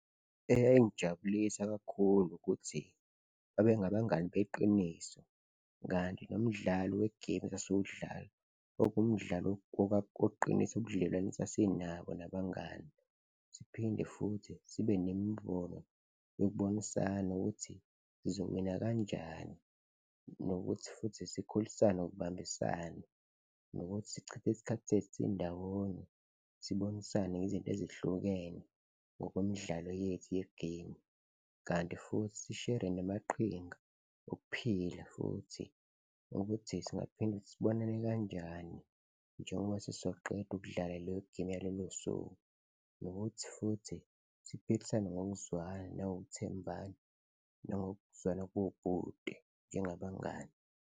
Eyayingijabulisa kakhulu ukuthi babengabangani beqiniso kanti nomdlalo we-game esasiwudlala kwaku umdlalo wokuqinisa ubudlelwane esasinabo nabangani siphinde futhi sibe nemibono yokubonisana ukuthi sizowina kanjani nokuthi futhi sikhulisane ngokubambisana nokuthi sichithe isikhathi sindawonye, sibonisane ngezinto ezihlukene ngokwemidlalo yethu ye-game. Kanti futhi sishere namaqhinga okuphila futhi ukuthi singaphinde sibonane kanjani njengoba sesizoqeda ukudlala leyo-game yalolo suku nokuthi futhi siphikisane ngokuzwana nangokuthembana nangokuzwana kobhuti njengabangani.